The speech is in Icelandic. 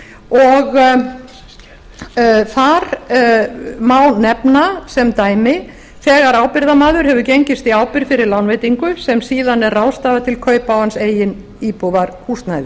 og þar má nefna sem dæmi þegar ábyrgðarmaður hefur gengist í ábyrgð fyrir lánveitingu sem síðan er ráðstafað til kaupa á hans eigin íbúðarhúsnæði